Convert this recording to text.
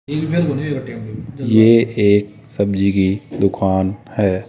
ये एक सब्जी की दुकान है।